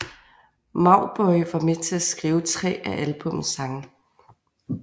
Mauboy var med til at skrive tre af albummets sange